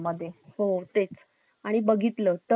आणि बघितलं तर लैंगिक छळ सुद्धा